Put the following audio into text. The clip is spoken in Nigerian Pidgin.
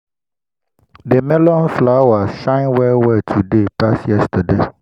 the melon flowers shine well well today pass yesterday.